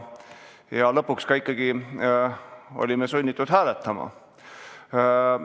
Ja lõpuks olime ikkagi sunnitud ka hääletama.